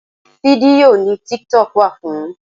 Fídíò ni tiktok wà fún.